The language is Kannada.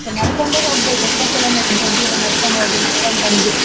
ನಡ್ಕೊಂಡೆ ಹೋಗ್ಬೇಕ್ ಎಷ್ಟೋ kilometer ದೂರ ನಡ್ಕೊಂಡ್ ಹೋಗಿ ನಡ್ಕೊಂಡ್ ಬಂದು.